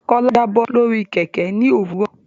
Kola Jabo lórí Kẹ̀kẹ́ ní òwúrọ̀.